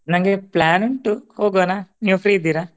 ನಂಗೆ plan ಉಂಟು ಹೋಗೋಣ ನೀವು free ಇದ್ದೀರಾ?